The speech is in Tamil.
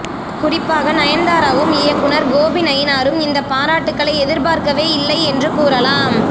குறிப்பாக நயன்தாராவும் இயக்குனர் கோபி நயினாரும் இந்த பாராட்டுக்களை எதிர்பார்க்கவே இல்லை என்று கூறலாம்